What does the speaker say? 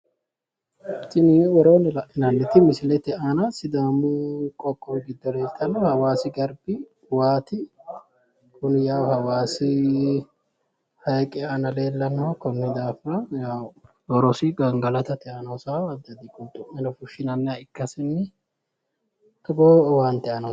Tini woroonni la'inanniti misilete aana sidaamu qoqqowi giddo leeltanno hawaasi garbi wati kuni yawu hawaasi hayiiqe aana leellannoho konni daafira yawu horosi gangalatate aana hosawo addi addi qulxu'meno fushsshinanniha ikkasinni togoo owaante aana hosanno.